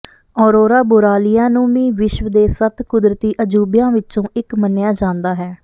aurora borealis ਨੂੰ ਵੀ ਵਿਸ਼ਵ ਦੇ ਸੱਤ ਕੁਦਰਤੀ ਅਜੂਬਿਆਂ ਵਿੱਚੋਂ ਇੱਕ ਮੰਨਿਆ ਜਾਂਦਾ ਹੈ